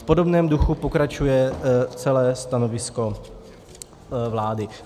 V podobném duchu pokračuje celé stanovisko vlády.